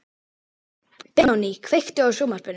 Benoný, kveiktu á sjónvarpinu.